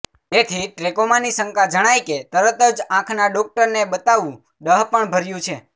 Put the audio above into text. તેથી ટ્રેકોમાની શંકા જણાય કે તરત જ આંખના ડોક્ટરને બતાવવું ડહાપણભર્યું છે